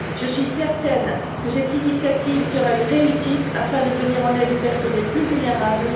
Je suis certaine que cette initiative sera une réussite et permettra de venir en aide aux personnes les plus vulnérables.